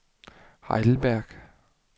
Heidelberg